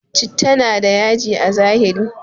Chitta na da yaji a zahiri